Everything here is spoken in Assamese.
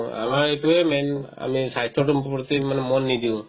আমাৰ এইটোয়ে main আমি স্বাস্থ্যটোৰ প্ৰতি ইমান মন নিদিওঁ